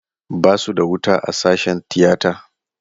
Basu da wuta a sashen tiyata.